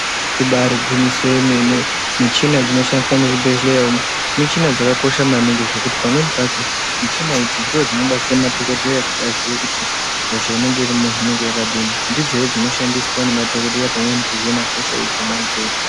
Ibairi ngwinyiso ye mene michina dzino shandiswa mu zvibhedhleya umu michina dzaka kosha maningi zvekuti pamweni pacho michina idzi ndo dzino batsira madhokodheya kuti aziye kuti hosha inenge irimwo inenga yakadini ndi dzehe dzino shandiswa ne madhokodheya pamweni ku hina hosha dzona idzodzo.